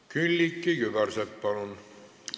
Külliki Kübarsepp, palun!